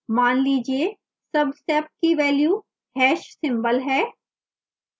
मान लीजिए subsep की value hash symbol # है